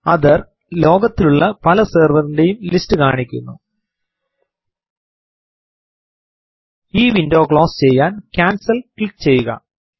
author ലോകത്തിലുള്ള പല servers ൻറെയും ലിസ്റ്റ് കാണിക്കുന്നു ഈ വിൻഡോ ക്ലോസ് ചെയ്യാൻ കാൻസൽ ക്ലിക്ക് ചെയ്യുക